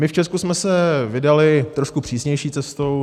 My v Česku jsme se vydali trošku přísnější cestou.